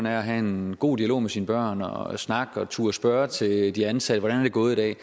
er at have en god dialog med sine børn og snakke og turde spørge til de ansatte hvordan det er gået i dag